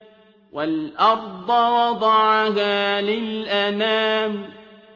وَالْأَرْضَ وَضَعَهَا لِلْأَنَامِ